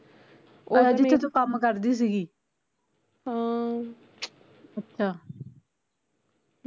ਜਿਥੇ ਤੂੰ ਕੰਮ ਕਰਦੀ ਸੀਗੀ ਅੱਛਾ